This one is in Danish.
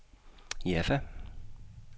Jaffa